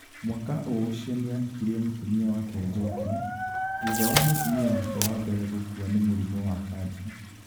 Mwaka o ũcio nĩ aahikirie mũtumia wake Njoki , thutha wa mũtumia wake wa mbere gũkua nĩ mũrimũ wa kanja.